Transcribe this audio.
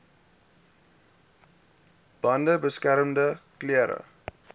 bande beskermende klere